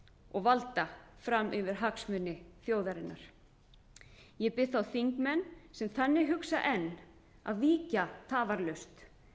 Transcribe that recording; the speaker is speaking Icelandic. og valda fram yfir hagsmuni þjóðarinnar ég bið þá þingmenn sem þannig hugsa enn að víkja tafarlaust